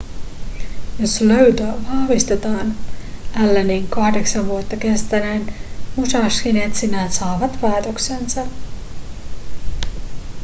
jos löytö vahvistetaan allenin kahdeksan vuotta kestäneet musashin etsinnät saavat päätöksensä